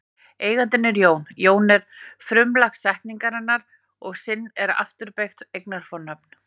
Eigandinn er Jón, Jón er frumlag setningarinnar og sinn er afturbeygt eignarfornafn.